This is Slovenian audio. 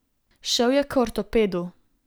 Šel je k ortopedu.